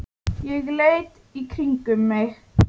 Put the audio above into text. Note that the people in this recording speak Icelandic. Ég leit í kringum mig.